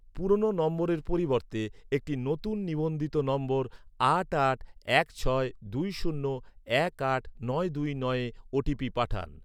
পুরনো নম্বরের পরিবর্তে একটি নতুন নিবন্ধিত নম্বর আট আট এক ছয় দুই শূন্য এক আট নয় দুই নয়ে ও.টি.পি পাঠান।